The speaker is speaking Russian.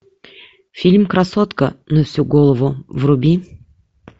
фильм красотка на всю голову вруби